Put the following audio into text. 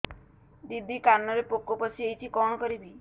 ଦିଦି କାନରେ ପୋକ ପଶିଯାଇଛି କଣ କରିଵି